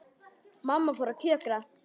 Mamma fór að kjökra.